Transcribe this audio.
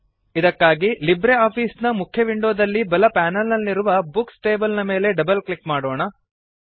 ಇದಕ್ಕಾಗಿ LibreOffice ನ ಮುಖ್ಯ ವಿಂಡೋದಲ್ಲಿ ಬಲ ಪೆನಲ್ ನಲ್ಲಿರುವ ಬುಕ್ಸ್ ಟೇಬಲ್ ಮೇಲೆ ಡಬಲ್ ಕ್ಲಿಕ್ ಮಾಡೋಣ